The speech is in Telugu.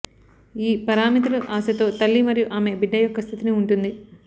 ఈ పారామితులు ఆశతో తల్లి మరియు ఆమె బిడ్డ యొక్క స్థితిని ఉంటుంది